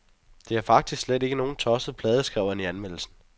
Det er faktisk slet ikke nogen tosset plade, skrev han i anmeldelsen.